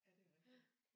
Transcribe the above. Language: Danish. Ja det er rigtigt